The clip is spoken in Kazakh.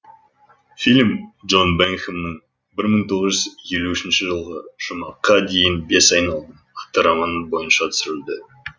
фильм джон бингхэмның бір мың тоғыз жүз елу үшінші жылғы жұмаққа дейін бес айналым атты романы бойынша түсірілді